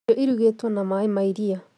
Irio irugĩtwo na maĩ ma iria